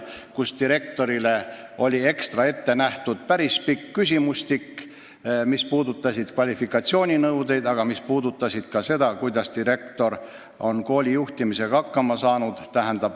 Direktorile oli ekstra ette nähtud päris pikk küsimustik, mis puudutas kvalifikatsiooninõudeid, aga ka üldse seda, kuidas direktor on kooli juhtimisega hakkama saanud.